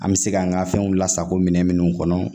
An bɛ se kan ka fɛnw lasago minɛn minnu kɔnɔ